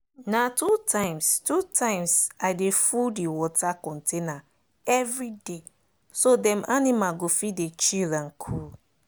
na two times two times i dey full the water container every dayso dem animal go fit dey chill and cool.